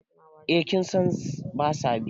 eh kin San ba sa biya